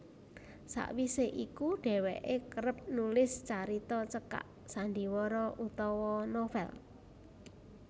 Sawise iku dheweke kerep nulis carita cekak sandhiwara utawa novel